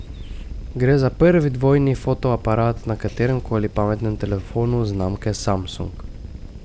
Gre za prvi dvojni fotoaparat na katerem koli pametnem telefonu znamke Samsung.